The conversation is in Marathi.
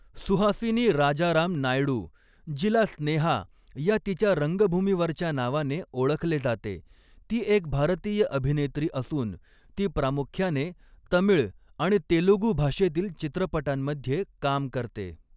सुहासिनी राजाराम नायडू, जिला स्नेहा या तिच्या रंगभूमीवरच्या नावाने ओळखले जाते, ती एक भारतीय अभिनेत्री असून ती प्रामुख्याने तमिळ आणि तेलुगू भाषेतील चित्रपटांमध्ये काम करते.